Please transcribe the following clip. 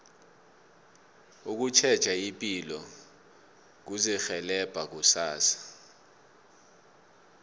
ukutjheja ipilo kuzirhelebha kusasa